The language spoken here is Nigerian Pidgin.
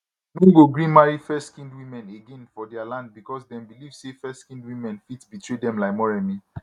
no go gree marry fairskinned women again for dia land becos dem believe say fairskinned women fit betray dem like moremi